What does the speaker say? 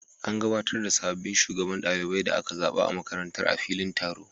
An gabatar da sabbin shugabannin ɗalibai da aka zaba a makarantar a filin taro.